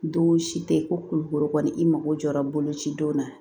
Don si tɛ ko kulukoro kɔni i mago jɔra boloci don na